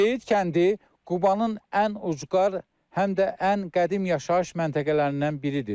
Zeyid kəndi Qubanın ən ucqar həm də ən qədim yaşayış məntəqələrindən biridir.